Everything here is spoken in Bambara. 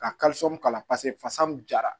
Ka k'a la paseke fasa mun jara